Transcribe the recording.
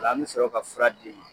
O la an bi sɔrɔ ka fura d'i ma .